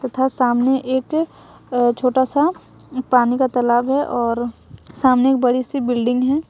तथा सामने एक अ छोटा सा पानी का तालाब है और सामने एक बड़ी सी बिल्डिंग है।